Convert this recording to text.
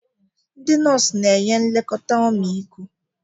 Ndị nọọsụ na-enye nlekọta ọmịiko.